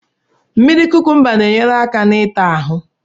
Mmiri kukumba na-ényéré áká n'ita ahu